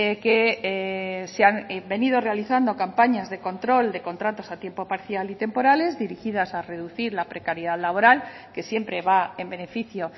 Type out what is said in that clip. que se han venido realizando campañas de control de contratos a tiempo parcial y temporales dirigidas a reducir la precariedad laboral que siempre va en beneficio